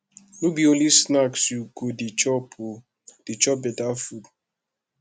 no be only snacks you go dey chop o dey chop beta food